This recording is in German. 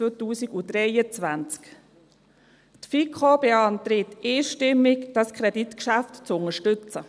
Die FiKo beantragt einstimmig, dieses Kreditgeschäft zu unterstützen.